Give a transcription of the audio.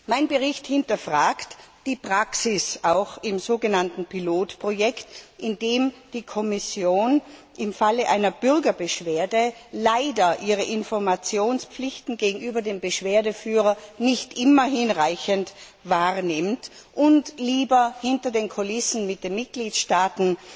Mein Bericht hinterfragt auch die Praxis im so genannten Pilotprojekt, in dem die Kommission im Falle einer Bürgerbeschwerde leider ihre Informationspflichten gegenüber dem Beschwerdeführer nicht immer hinreichend wahrnimmt und lieber hinter den Kulissen mit den Mitgliedstaaten